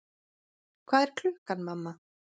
Hvað er klukkan, mamma?